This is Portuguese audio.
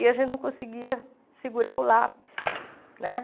E a gente não conseguia segurar o lápis né.